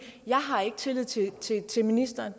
jeg har ikke tillid til tillid til ministeren